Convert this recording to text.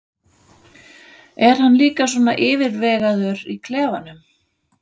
Er hann líka svona yfirvegaður í klefanum?